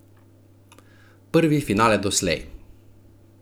Prvi finale doslej!